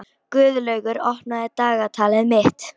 Guðlaugur, opnaðu dagatalið mitt.